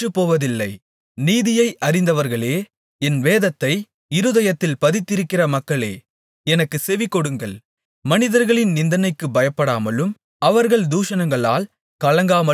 நீதியை அறிந்தவர்களே என் வேதத்தை இருதயத்தில் பதித்திருக்கிற மக்களே எனக்குச் செவிகொடுங்கள் மனிதர்களின் நிந்தனைக்குப் பயப்படாமலும் அவர்கள் தூஷணங்களால் கலங்காமலும் இருங்கள்